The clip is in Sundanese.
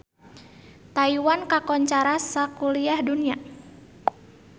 Taiwan kakoncara sakuliah dunya